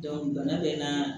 bana bɛ n na